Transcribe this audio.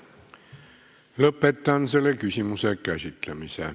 Lõpetan selle küsimuse käsitlemise.